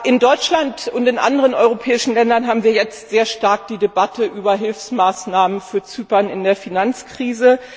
In Deutschland und in anderen europäischen Ländern haben wir jetzt sehr stark die Debatte über Hilfsmaßnahmen für Zypern in der Finanzkrise.